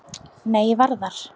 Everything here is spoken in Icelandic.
Nei, ég var þar